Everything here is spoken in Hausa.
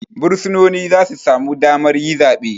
Bursunoni zasu samu damar yi zabe